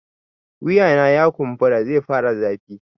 Wuyana ya kumbura zai fara zafi